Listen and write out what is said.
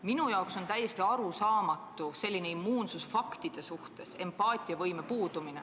Minule on täiesti arusaamatu selline immuunsus faktide suhtes ja empaatiavõime puudumine.